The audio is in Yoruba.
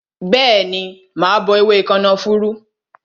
Bẹẹni, mà á bọ ewé kànáfùrú